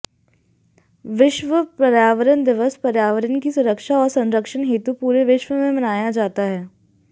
विश्व पर्यावरण दिवस पर्यावरण की सुरक्षा और संरक्षण हेतु पूरे विश्व में मनाया जाता है